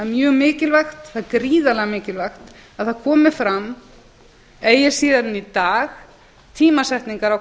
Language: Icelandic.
mjög mikilvægt það er gríðarlega mikilvægt að það komi fram eigi síðar en í dag tímasetningar á